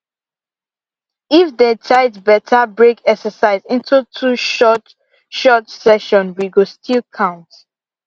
if day tight better break exercise into two short short session wey go still count